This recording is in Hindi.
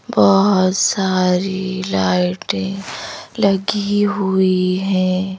बहुत सारी लाइटें लगी हुई हैं।